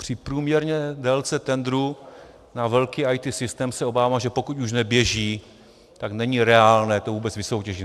Při průměrné délce tendru na velký IT systém se obávám, že pokud už neběží, tak není reálné to vůbec vysoutěžit.